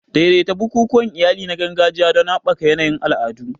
Daidaita bukukuwan iyali na gargajiya don haɓaka yanayin al'adu.